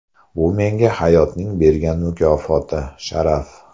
Bu menga hayotning bergan mukofoti, sharaf.